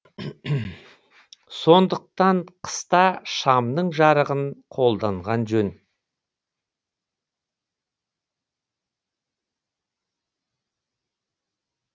сондықтан қыста шамның жарығын қолданған жөн